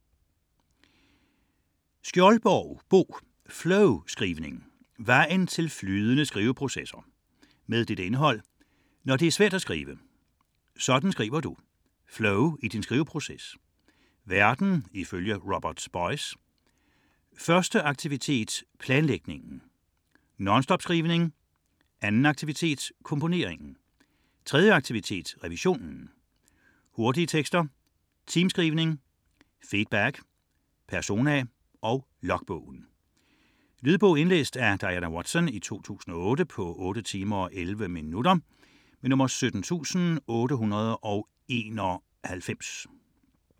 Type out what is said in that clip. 80.8 Skjoldborg, Bo: Flowskrivning: vejen til flydende skriveprocesser Indhold: Når det er svært at skrive; Sådan skriver du; Flow i din skriveproces; Verden ifølge Robert Boice; Første aktivitet : planlægningen; Nonstopskrivning; Anden aktivitet : komponeringen; Tredje aktivitet : revisionen; Hurtige tekster; Teamskrivning; Feedback; Persona; Logbogen. Lydbog 17891 Indlæst af Diana Watson, 2008. Spilletid: 8 timer, 11 minutter.